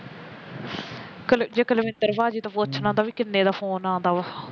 ਜੇ ਕੁਲਵਿੰਦਰ ਭਾਜੀ ਤੋ ਪੁੱਛਣਾ ਦਾ ਵੀ ਕਿੰਨੇ ਦਾ phone ਆਉਂਦਾ ਵਾ